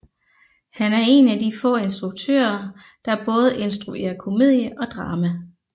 Han er en af de få instruktøre der både instruere komedie og drama